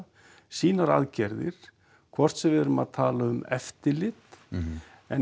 sínar aðgerðir hvort sem við erum að tala um eftirlit en